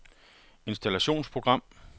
installationsprogram